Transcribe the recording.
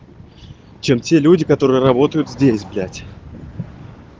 чем те люди которые работают здесь блять